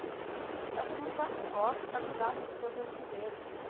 Aí eu falei, mãe, claro que gosta, ele está grudado em você o tempo inteiro.